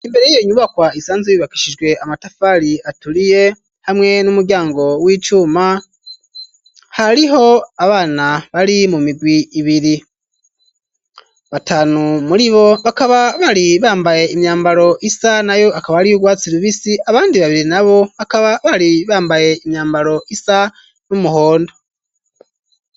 Imbere yiyo nyubakwa isanzwe yubakishijwe amatafari aturiye hamwe n'umuryango w'icuma hariho abana bari mu migwi ibiri ,batanu muri bo bakaba bari bambaye imyambaro isa na yo akaba ariy’ ugwatsi rubisi abandi babiri na bo bakaba bari bambaye imyambaro isa n'umuhondo.